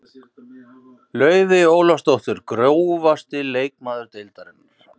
Laufey Ólafsdóttir Grófasti leikmaður deildarinnar?